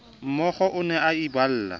mookgo o ne a iballa